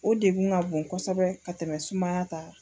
O degun ka bon kosɛbɛ ka tɛmɛ sumaya ta ka.